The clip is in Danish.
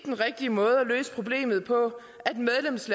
den rigtige måde at løse problemet på